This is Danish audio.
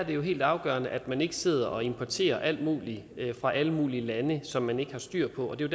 jo helt afgørende at man ikke sidder og importerer alt muligt fra alle mulige lande som man ikke har styr på og det er